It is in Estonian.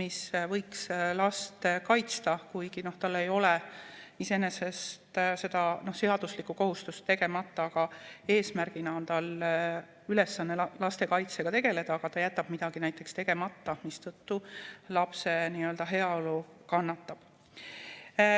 mis võiks last kaitsta, kuigi tal ei ole iseenesest seda seaduslikku kohustust, aga eesmärgina on tal ülesanne lastekaitsega tegeleda, aga ta jätab midagi tegemata, mistõttu lapse heaolu kannatab.